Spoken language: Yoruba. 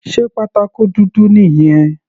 Sé pátákó dúdú nìyẹn?